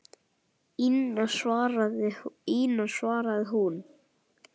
Ína, svaraði hún.